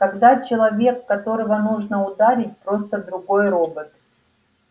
когда человек которого нужно ударить просто другой робот